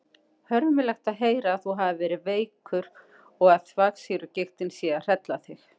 Hörmulegt að heyra að þú hafir verið veikur og að þvagsýrugigtin sé að hrella þig.